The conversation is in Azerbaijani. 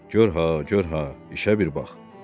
Gör ha, gör ha, işə bir bax.